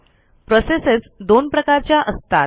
processes दोन प्रकारच्या असतात